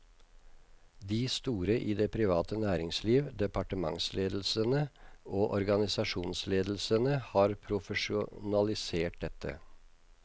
De store i det private næringsliv, departementsledelsene og organisasjonsledelsene har profesjonalisert dette.